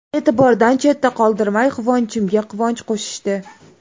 E’tibordan chetda qoldirmay, quvonchimga quvonch qo‘shishdi.